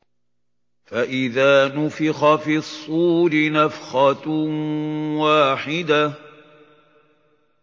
فَإِذَا نُفِخَ فِي الصُّورِ نَفْخَةٌ وَاحِدَةٌ